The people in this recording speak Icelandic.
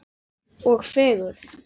Og fegurð.